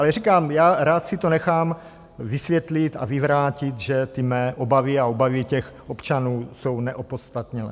Ale říkám, já rád si to nechám vysvětlit a vyvrátit, že ty mé obavy a obavy těch občanů jsou neopodstatněné.